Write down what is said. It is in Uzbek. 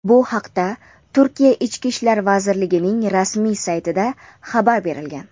Bu haqda Turkiya Ichki ishlar vazirligining rasmiy saytida xabar berilgan.